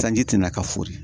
Sanji tɛna ka furi